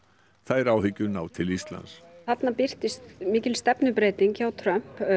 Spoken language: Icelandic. þær áhyggjur ná til Íslands þarna birtist mikil stefnubreyting hjá Trump